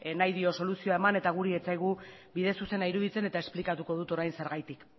nahi dio soluzio eman eta gure ez zaigu bide zuzena iruditzen eta esplikatuko dut orain zergatik